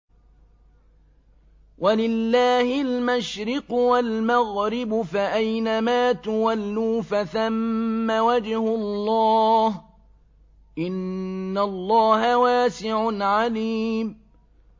وَلِلَّهِ الْمَشْرِقُ وَالْمَغْرِبُ ۚ فَأَيْنَمَا تُوَلُّوا فَثَمَّ وَجْهُ اللَّهِ ۚ إِنَّ اللَّهَ وَاسِعٌ عَلِيمٌ